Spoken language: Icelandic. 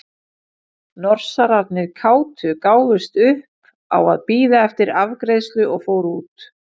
Norsararnir kátu gáfust upp á að bíða eftir afgreiðslu og fóru út.